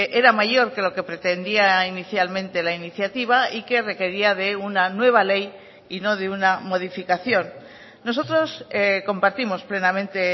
era mayor que lo que pretendía inicialmente la iniciativa y que requería de una nueva ley y no de una modificación nosotros compartimos plenamente